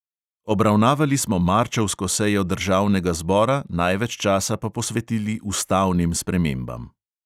Obravnavali smo marčevsko sejo državnega zbora, največ časa pa posvetili ustavnim spremembam.